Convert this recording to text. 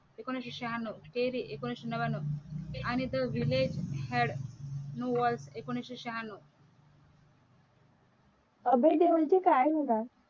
एकोणविशे शहान्नव थेरी एकोणविशे नव्यान्नव आणिजर village had no word एकोणविशे शहान्नव अभय देओल च काय झाल.